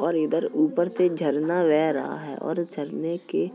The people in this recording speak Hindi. और इधर ऊपर से झरना बेह रहा है और झरने के